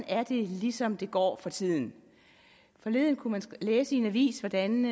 er det ligesom går for tiden forleden kunne man læse i en avis hvordan